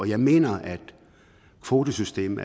jeg mener at kvotesystemet